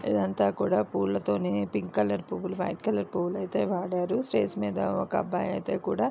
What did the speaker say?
ఇది అంతా కూడా పూలతోని పింక్ కలర్ పూలు వైట్ కలర్ పూలు అయితే వే వాడారు. స్టేజి మీద ఒక అబ్బాయి కూడా--